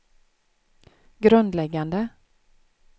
grundläggande